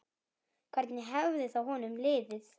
Hvernig hefði þá honum liðið?